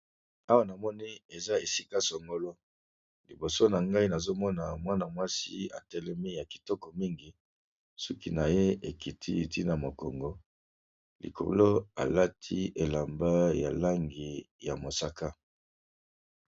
Awa namoni eza esika songolo liboso na ngai nazomona mwana mwasi atelemi ya kitoko mingi suki na ye ekiti ntina mokongo likolo alati elamba ya langi ya mosaka.